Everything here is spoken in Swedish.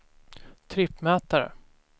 trippmätare